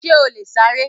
Ṣè ó lè ṣàrẹ̀?